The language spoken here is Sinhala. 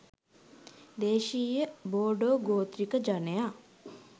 දේශීය බෝඩෝ ගෝත්‍රික ජනයා